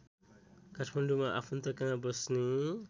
काठमाडौँमा आफन्तकहाँ बस्ने